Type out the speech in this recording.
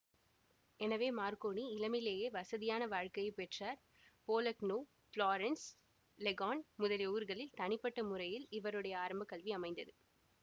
எனவே மார்க்கோனி இளமையிலேயே வசதியான வாழ்க்கையை பெற்றார் போலக்னோபுளோரன்ஸ் லெகார்ன் முதலிய ஊர்களில் தனிப்பட்ட முறையில் இவருடைய ஆரம்ப கல்வி அமைந்தது